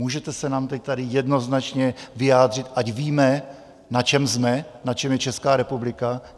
Můžete se nám teď tady jednoznačně vyjádřit, ať víme, na čem jsme, na čem je Česká republika?